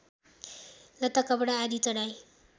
लत्ताकपडा आदि चढाइ